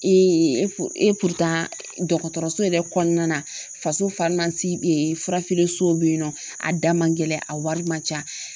dɔgɔtɔrɔso yɛrɛ kɔnɔna na faso bɛ yen nɔ a da man gɛlɛn a wari man ca